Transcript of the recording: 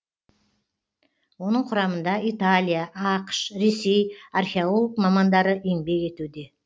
оның құрамында италия ақш ресей археолог мамандары еңбек етуде